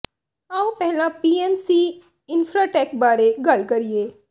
ਆਓ ਪਹਿਲਾਂ P N C Infratech ਬਾਰੇ ਗੱਲ ਕਰੀਏ